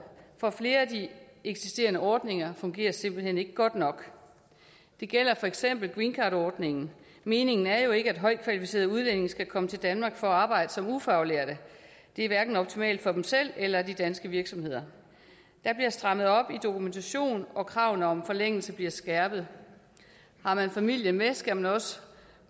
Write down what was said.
for flere af de eksisterende ordninger fungerer simpelt hen ikke godt nok det gælder for eksempel greencardordningen meningen er jo ikke at højt kvalificerede udlændinge skal komme til danmark for at arbejde som ufaglærte det er hverken optimalt for dem selv eller for de danske virksomheder der bliver strammet op på dokumentation og kravene om forlængelse bliver skærpet har man familien med skal man også